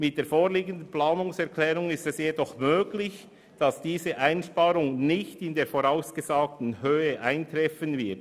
Die vorliegende Planungserklärung lässt jedoch zu, dass die Einsparung nicht in der vorausgesagten Höhe eintreffen wird.